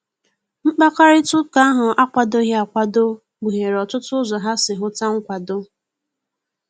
Mkpakarita ụka ahu akwadoghi akwado, kpuhere otụtụ ụzọ ha si huta nkwado.